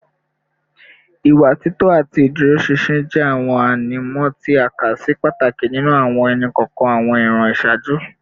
Ìwà títọ́ àti ìdúróṣinṣin jẹ́ àwọn ànímọ́ tí a kà sí pàtàkì nínú àwọn ẹnì kọ̀ọ̀kan àwọn ìran ìṣáájú